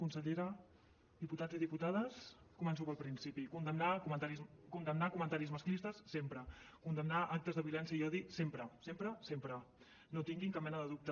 consellera diputats i diputades començo pel principi condemnar comentaris masclistes sempre condemnar actes de violència i odi sempre sempre sempre no en tinguin cap mena de dubte